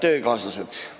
Head töökaaslased!